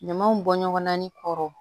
Ɲamaw bɔ ɲɔgɔnna ni kɔrɔ